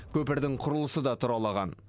көпірдің құрылысы да тұралаған